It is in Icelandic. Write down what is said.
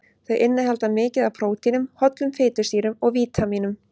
Þau innihalda mikið af prótínum, hollum fitusýrum og vítamínum.